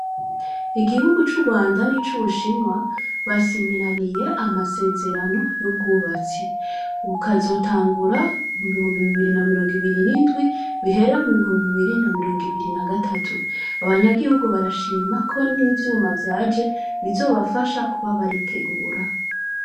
Igihugu c'ugwanda n'icubushinwa basinyiraniye amasezerano y'ubwubatsi, bukazotangura mubihumbi bibiri na mirongibiri n'indwi bihera mu bihumbi bibiri na mirongibiri nagatatu, abanyagihugu barashima ko n'ivyuma vyaje bizobafasha kuba baritegura.